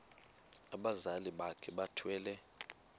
abazali bakhe bethwele